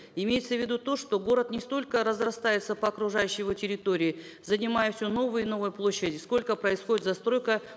имеется в виду то что город не столько разрастается по окружающей его территории занимая все новые и новые площади сколько происходит застройка